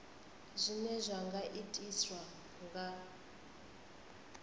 zwine zwa nga itiswa nga